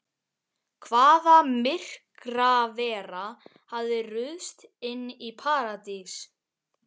Hvaða myrkravera hafði ruðst inn í Paradís?